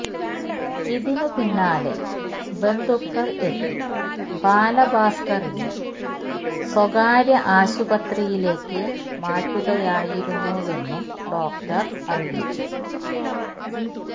ഇതിന് പിന്നാലെ ബന്ധുക്കൾ എത്തി ബാലഭാസ്കറിനെ സ്വകാര്യ ആശുപത്രിയിലേക്ക് മാറ്റുകയായിരുന്നുവെന്നും ഡോക്ടർ അറിയിച്ചു